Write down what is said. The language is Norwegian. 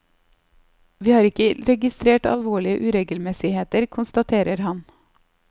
Vi har ikke registrert alvorlige uregelmessigheter, konstaterer han.